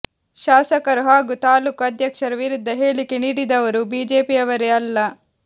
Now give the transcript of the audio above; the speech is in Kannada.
ಶಾಸಕರು ಹಾಗೂ ತಾಲೂಕು ಅಧ್ಯಕ್ಷರ ವಿರುದ್ಧ ಹೇಳಿಕೆ ನೀಡಿದವರು ಬಿಜೆಪಿಯವರೇ ಅಲ್ಲ